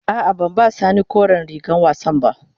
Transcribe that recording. A'a, ban ba sani koren rigar wassan ba.